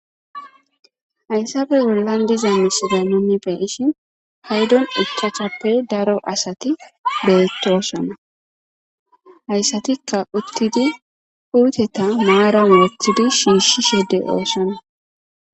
Hayssappe bollan diza miishata nuuni xeelishin paydon ichachchappe daro asati betosona. Haysatikka uttidi puuteta maaran wothidi shiishi de7osona.